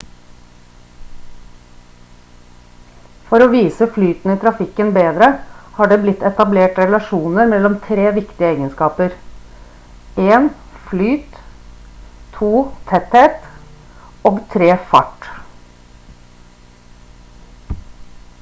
for å vise flyten i trafikken bedre har det blitt etablert relasjoner mellom tre viktige egenskaper: 1 flyt 2 tetthet og 3 fart